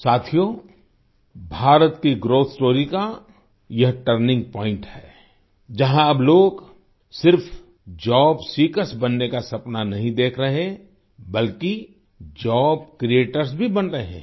साथियो भारत की growth story का यह टर्निंग पॉइंट है जहाँ अब लोग सिर्फ जॉब सीकर्स बनने का सपना नहीं देख रहे बल्कि जॉब क्रिएटर्स भी बन रहे हैं